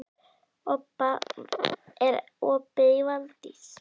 Obba, er opið í Valdís?